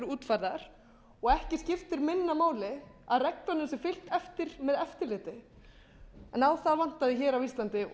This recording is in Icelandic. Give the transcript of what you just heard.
útfærðar og ekki skiptir minna máli að reglunum sé fylgt eftir með eftirliti en á það vantaði á íslandi og